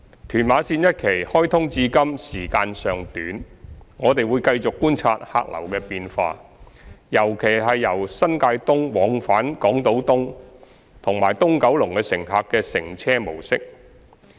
屯馬綫一期開通至今時間尚短，我們會繼續觀察客流的變化，尤其由新界東往返港島東及東九龍的乘客的乘車模式。